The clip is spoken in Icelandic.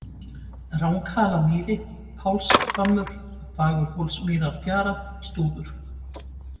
Ranghalamýri, Pálshvammur, Fagurhólsmýrarfjara, Stúfur